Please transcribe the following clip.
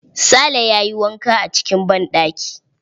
Sale ya yi wanka acikin banɗaki.